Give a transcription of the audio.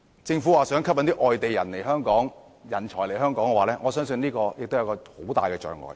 政府表示想吸引外地人才來港，我相信樓價是一大障礙。